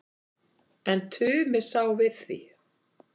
En Tumi sá við því.